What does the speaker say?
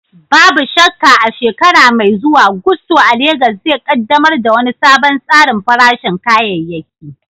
Babu shakka, a shekara mai zuwa, Gusto a Legas zai ƙaddamar da wani sabon tsarin farashin kayayyaki.